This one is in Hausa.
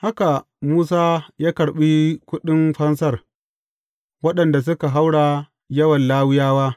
Haka, Musa ya karɓi kuɗin fansar waɗanda suka haura yawan Lawiyawa.